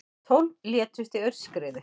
Tólf létust í aurskriðu